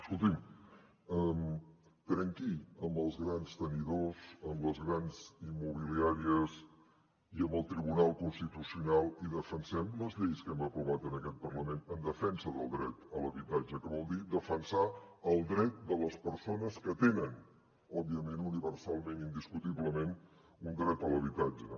escolti’m trenqui amb els grans tenidors amb les grans immobiliàries i amb el tribunal constitucional i defensem les lleis que hem aprovat en aquest parlament en defensa del dret a l’habitatge que vol dir defensar el dret de les persones que tenen òbviament universalment indiscutiblement un dret a l’habitatge